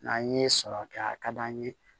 N'an ye sɔrɔ kɛ a ka d'an ye